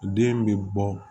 Den bɛ bɔ